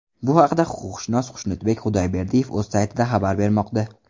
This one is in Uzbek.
Bu haqda huquqshunos Xushnudbek Xudayberdiyev o‘z saytida xabar bermoqda .